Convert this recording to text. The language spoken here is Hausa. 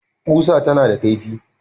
Ƙusa tana da kaifi